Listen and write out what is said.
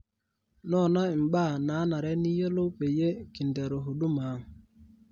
noona imbaa naanare niyiolou peyie kinteru huduma ang